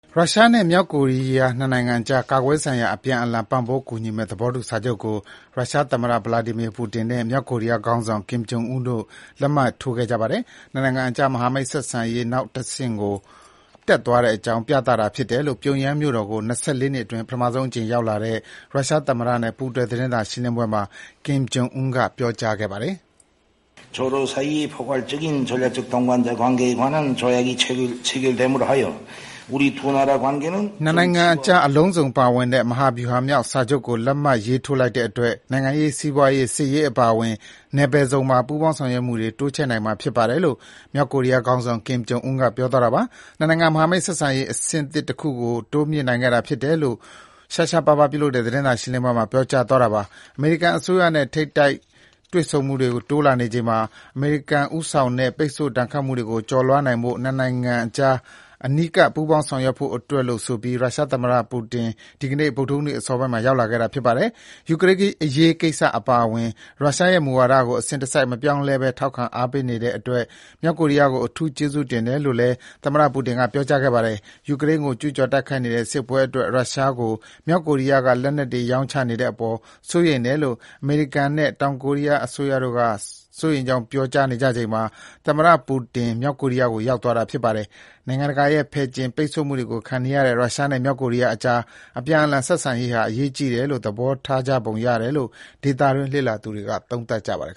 ရုရှားနဲ့ မြောက်ကိုရီးယား ၂ နိုင်ငံကြား ကာကွယ်ရေးဆိုင်ရာ အပြန်အလှန် ပံ့ပိုးကူညီမယ့် သဘောတူစာချုပ်ကို ရုရှားသမ္မတ ဗလာဒီမီယာပူတင်နဲ့ မြောက်ကိုရီးယားခေါင်းဆောင် ကင်ဂျွန်အွန်းတို့လက်မှတ်ထိုးခဲ့ကြပါတယ်။ ၂ နိုင်ငံကြား မဟာမိတ်ဆက်ဆံရေးနောက်အဆင့်ကို တက်သွားကြောင်း ပြသတာဖြစ်တယ်လို့ ပြုံယမ်းမြို့တော်ကို ၂၄ နှစ်အတွင်း ပထမဆုံးရောက်လာတဲ့ ရုရှားသမ္မတနဲ့ ပူးတွဲသတင်းစာရှင်းပွဲမှာ ကင်ဂျွန်အွန်းကခုလိုပြောကြားခဲ့ပါတယ်။ ၂ နိုင်ငံကြား အလုံးစုံပါဝင်တဲ့ မဟာဗျူဟာမြောက်စာချုပ်ကို လက်မှတ်ရေးထိုးလိုက်တဲ့အတွက် နိုင်ငံရေး၊ စီးပွားရေး၊ စစ်ရေးအပါအဝင် နယ်ပယ်စုံမှာ ပူးပေါင်းဆောင်ရွက်မှုတွေ တိုးချဲ့နိုင်မှာဖြစ်ပါတယ်လို့ မြောက်ကိုရီးယားခေါင်းဆောင် ကင်ဂျွန်အွန်းကပြောကြားခဲ့တာပါ။ ၂ နိုင်ငံ မဟာမိတ်ဆက်ဆံရေး အဆင့်သစ်တခုကို တိုးမြှင့်နိုင်ခဲ့တာဖြစ်တယ်လို့ ရှားရှားပါးပါး ပြုလုပ်တဲ့သတင်းစာရှင်းပွဲမှာ ပြောကြားသွားတာပါ။ အမေရိကန်အစိုးရနဲ့ ထိပ်တိုက်တွေ့မှုတွေ တိုးလာနေချိန် အမေရိကန်ဦးဆောင်တဲ့ ပိတ်ဆို့ဒဏ်ခတ်မှုတွေ ကျော်လွှားနိုင်ဖို့ ၂ နိုင်ငံကြား အနီးကပ် ပူးပေါင်းဆောင်ရွက်ဖို့အတွက်လို့ ဆိုပြီး ရုရှားသမ္မတပူတင် ဒီနေ့ ဗုဒ္ဓဟူးနေ့ အစောပိုင်းမှာ ရောက်လာခဲ့တာပါ။ ယူကရိန်းအရေးကိစ္စအပါအဝင် ရုရှားရဲ့ မူဝါဒတွေကို အစဉ်တစိုက် မပြောင်းလဲဘဲ ထောက်ခံ ပေးနေတဲ့အတွက် မြောက်ကိုရီးယားကို အထူးကျေးဇူးတင်တယ်လို့လည်း သမ္မတပူတင်က ပြောကြားခဲ့ပါတယ်။ ယူကရိန်းကို ကျူးကျော်တိုက်နေတဲ့ စစ်ပွဲအတွက် ရုရှားကို မြောက်ကိုရီးယားက လက်နက်တွေ ရောင်းချနေတဲ့အပေါ် စိုးရိမ်တယ်လို့ အမေရိကန်နဲ့ တောင်ကိုရီးယားအစိုးရတို့က စိုးရိမ်ကြောင်း ပြောကြားနေချိန်မှာ သမ္မတပူတင် မြောက်ကိုရီးယားသွားတာြဖစ်ပါတယ်။ နိုင်ငံတကာရဲ့ ဖယ်ကျဉ် ပိတ်ဆို့မှုတွေခံနေရတဲ့ ရုရှားနဲ့ မြောက်ကိုရီးယားကြား အပြန်အလှန် ဆက်ဆံရေးဟာ အရေးကြီးတယ်လို့ သဘောထားကြပုံရတယ်လို့ ဒေသတွင်းလေ့လာသူတွေက သုံးသပ်ကြပါတယ်